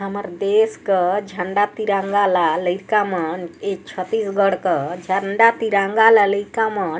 हमर देश का झंडा तिरंगा ला लइका मन छत्तीसगढ़ का झंडा तिरंगा ला लइका मन--